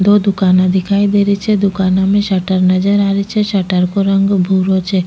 दो दुकाना दिखाई दे री छे दुकाना में शटर नजर आ री छे शटर को रंग भूरो छे।